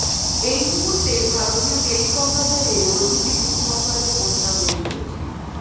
এই মহুর্তে ভারতীয় টেলিকম বাজারে রোজই বিভিন্ন অফারের বন্যা বয়ে চলেছে